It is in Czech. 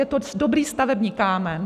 Je to dobrý stavební kámen.